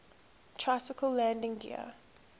tricycle landing gear